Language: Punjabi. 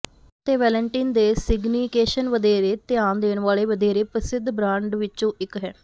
ਐਨੀ ਅਤੇ ਵੈਲੇਨਟਿਨ ਦੇ ਸਿਗਨੀਕੇਸ਼ਨ ਵਧੇਰੇ ਧਿਆਨ ਦੇਣ ਵਾਲ਼ੇ ਵਧੇਰੇ ਪ੍ਰਸਿੱਧ ਬ੍ਰਾਂਡ ਵਿੱਚੋਂ ਇਕ ਹੈ